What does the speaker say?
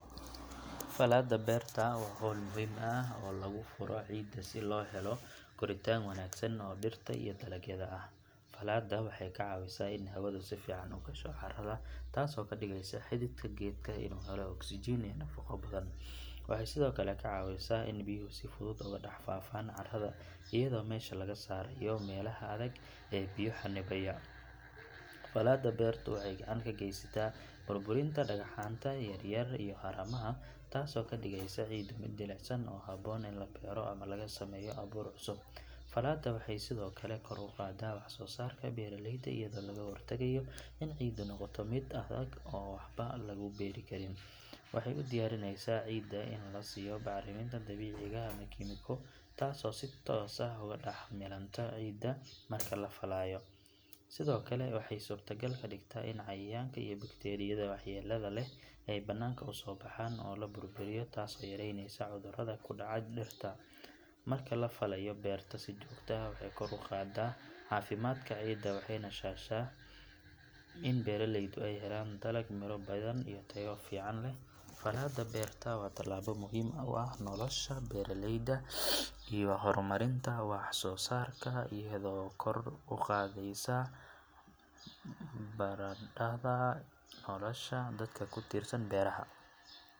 Faalada beerta waa hawl muhiim ah oo lagu furo ciidda si loo helo koritaan wanaagsan oo dhirta iyo dalagyada ah. Faalada waxay ka caawisaa in hawadu si fiican u gasho carrada taasoo ka dhigaysa xididka geedka inuu helo oksijiin iyo nafaqo badan. Waxay sidoo kale kaa caawisaa in biyuhu si fudud ugu dhex faafaan carrada iyadoo meesha laga saarayo meelaha adag ee biyo xannibaya. Faalada beertu waxay gacan ka geysataa burburinta dhagxaanta yaryar iyo haramaha taasoo ka dhigaysa ciiddu mid jilicsan oo habboon in la beero ama lagu sameeyo abuur cusub. Faalada waxay sidoo kale kor u qaaddaa wax soo saarka beeraleyda iyadoo laga hortagayo in ciiddu noqoto mid adag oo aan waxba lagu beeri karin. Waxay u diyaarinaysaa ciidda in la siiyo bacriminta dabiiciga ah ama kiimiko taasoo si toos ah ugu dhex milanta ciidda marka la faalayo. Sidoo kale waxay suurtogal ka dhigtaa in cayayaanka iyo bakteeriyada waxyeellada leh ay banaanka usoo baxaan oo la burburiyo taasoo yaraynaysa cudurrada ku dhaca dhirta. Marka la faalayo beerta si joogto ah, waxay kor u qaaddaa caafimaadka ciidda waxayna sahashaa in beeraleydu ay helaan dalag miro badan iyo tayo fiican leh. Faalada beertu waa tallaabo muhiim u ah nolosha beeraleyda iyo horumarinta wax soo saarka iyadoo kor u qaadaysa badhaadhaha nolosha dadka ku tiirsan beeraha.